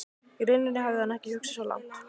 Í rauninni hafði hann ekki hugsað svo langt.